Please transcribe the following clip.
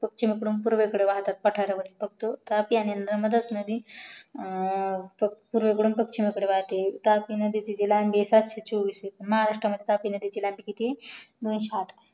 पश्चिमेकडून पूर्वेकडे वाहतात पठारावर फक्त तापी आणि नर्मदा नदी पूर्वे कडून पश्चिमेकडे वाहते तापी नदीची लंबी सातशे चोवीस आहे महारस्त्रामध्ये तापी नदीची लंबी किती आहे दोनशे आठ